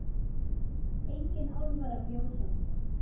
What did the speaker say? Engin alvara bjó hjá mér.